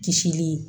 Kisili